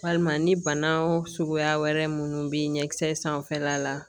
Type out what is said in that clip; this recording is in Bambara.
Walima ni bana suguya wɛrɛ minnu bɛ ɲɛ kisɛ sanfɛla la